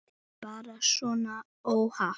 Þetta er bara svona óhapp.